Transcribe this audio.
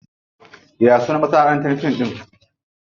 Ya sunan masanaʼantar fim ɗin?